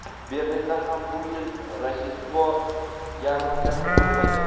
Berlinda ham bu yil Rojdestvo yarmarkasi bo‘lmaydi.